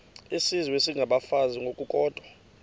izizwe isengabafazi ngokukodwa